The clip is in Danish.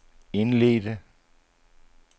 indledte